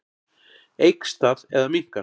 Eykst það eða minnkar?